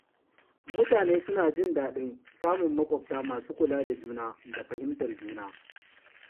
Mutane suna jin daɗin samun maƙwabta masu kula da juna da fahimtar juna.